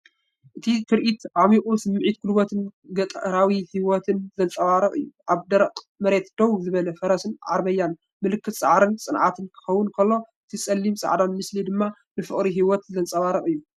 እቲ ትርኢት ዓሚቝ ስምዒት ጉልበትን ገጠራዊ ህይወትን ዘንጸባርቕ እዩ። ኣብ ደረቕ መሬት ደው ዝበለ ፈረስን ዓረብያን ምልክት ጻዕርን ጽንዓትን ክኸውን ከሎ እቲ ጸሊምን ጻዕዳን ምስሊ ድማ ንፍቕሪ ህይወት ዘንጸባርቕ እዩ።